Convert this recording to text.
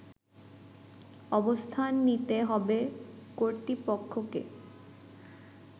অবস্থান নিতে হবে কর্তৃপক্ষকে